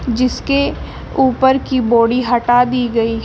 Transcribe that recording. जिसके ऊपर की बॉडी हटा दी गई है।